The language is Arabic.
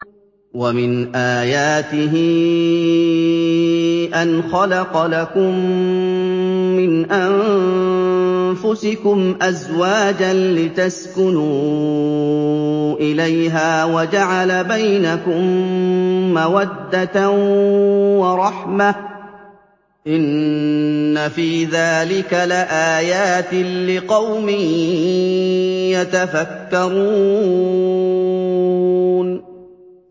وَمِنْ آيَاتِهِ أَنْ خَلَقَ لَكُم مِّنْ أَنفُسِكُمْ أَزْوَاجًا لِّتَسْكُنُوا إِلَيْهَا وَجَعَلَ بَيْنَكُم مَّوَدَّةً وَرَحْمَةً ۚ إِنَّ فِي ذَٰلِكَ لَآيَاتٍ لِّقَوْمٍ يَتَفَكَّرُونَ